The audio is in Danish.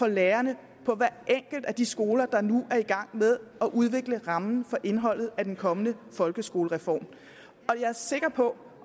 lærerne på hver enkelt af de skoler der nu er i gang med at udvikle rammen for indholdet af den kommende folkeskolereform jeg er sikker på